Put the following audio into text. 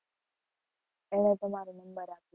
એણે તમારો નંબર આપ્યો.